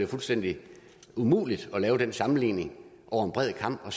fuldstændig umuligt at lave den sammenligning over en bred kam og